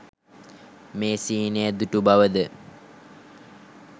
මේ සිහිනය දුටුු බව ද,